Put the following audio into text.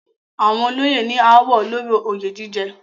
Àwọn olóyè ní ááwọ̀ lórí oyè jíjẹ.